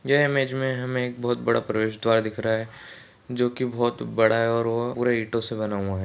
यह इमेज मे हमे एक बहुत बड़ा प्रवेशद्वार दिख रहा है जो की बहुत बड़ा है और वह पूरा ईटो से बना हुआ है।